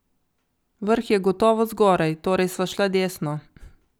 Vrh je gotovo zgoraj, torej sva šla desno.